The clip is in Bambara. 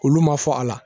Olu ma fɔ a la